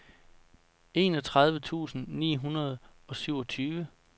enogtredive tusind ni hundrede og syvogtyve